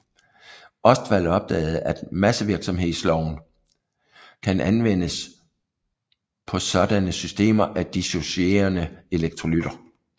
Ostwald opdagede at massevirkningsloven kan anvendes på sådanne systemer af dissocierende elektrolytter